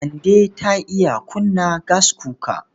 Kande ta iya kunna gaskuka.